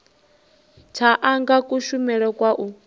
tsha anga kushumele kwa u